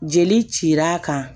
Jeli cir'a kan